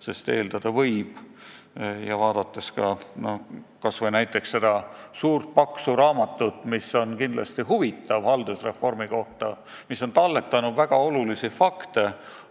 Sest eeldada võib, et see ei ole ilmselt päris objektiivne analüüsi alus, vaadates kas või näiteks seda suurt paksu raamatut haldusreformi kohta, mis on kindlasti huvitav ja kuhu on talletatud väga tähtsaid fakte,